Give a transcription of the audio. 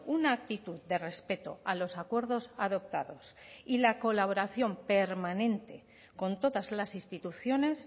una actitud de respeto a los acuerdos adoptados y la colaboración permanente con todas las instituciones